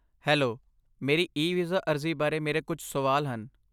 hello, ਮੇਰੀ e visa ਅਰਜ਼ੀ ਬਾਰੇ ਮੇਰੇ ਕੁੱਝ ਸਵਾਲ ਹਨ